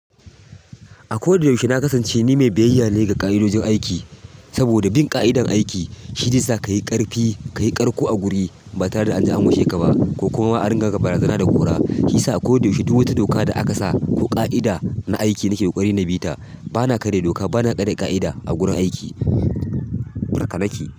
A koyaushe na kasance ni mai biyayya ne ga ƙa'idojin aiki, saboda bin ƙa'idar aiki shi zai sa ka yi ƙarfi, ka yi ƙarƙo a guri ba tare da an ji an gushe ka ba ko kuma an ringa ga barazana da kora. Shi yasa ko da yaushe duk wato doka da aka sa ko ƙa'ida na aiki nake ƙoƙari na bita bana karya doka bana karya ƙa'ida a waren aiki, haka nake.